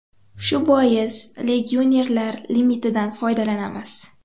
Shu bois, legionerlar limitidan foydalanamiz”.